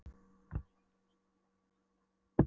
hlær hann með öllum skökku tönnunum sínum, næst